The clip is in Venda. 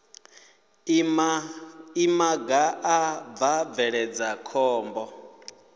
imaga a bva bveledza khombo